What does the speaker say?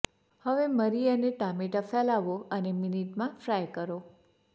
હવે મરી અને ટામેટાં ફેલાવો અને મિનિટમાં ફ્રાય કરો